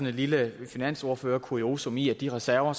et lille finansordførerkuriosum i at de reserver